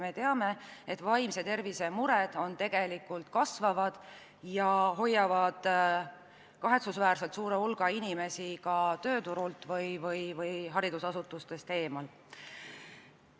Me teame, et vaimse tervise muresid on tegelikult aina rohkem ja need hoiavad kahetsusväärselt suure hulga inimesi tööturult või haridusasutustest eemal.